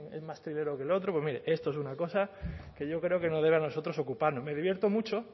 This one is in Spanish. es más triguero que el otro pues mire esto es una cosa que no debe a nosotros ocuparnos me divierto mucho